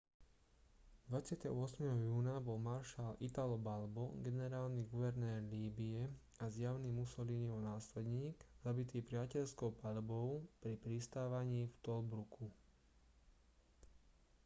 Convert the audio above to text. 28. júna bol maršal italo balbo generálny guvernér líbye a zjavný mussoliniho následník zabitý priateľskou paľbou pri pristávaní v tobruku